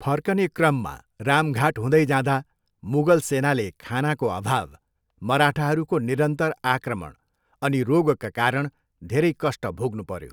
फर्कने क्रममा रामघाट हुँदै जाँदा मुगल सेनाले खानाको अभाव, मराठाहरूको निरन्तर आक्रमण अनि रोगका कारण धेरै कष्ट भोग्नुपऱ्यो।